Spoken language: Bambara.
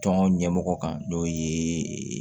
Tɔn ɲɛmɔgɔ kan n'o ye